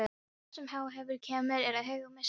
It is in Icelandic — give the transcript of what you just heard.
Allt sem á eftir kemur er hégómi, sagði Ari.